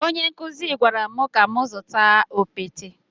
Onye nkụzi gwara m ka m zụta okpete.